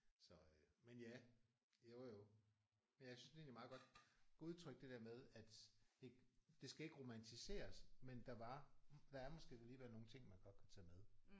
Så øh men ja jo jo. Men jeg synes det er egentlig meget godt udtrykt det der med at ikke det skal ikke romantiseres men der var der er måske alligevel nogle ting man godt kunne tage med